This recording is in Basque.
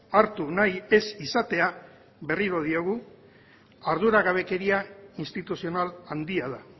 hartu nahi ez izatea berriro diogu arduragabekeria instituzional handia da